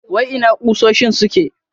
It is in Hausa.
Wai ina kusoshin suke?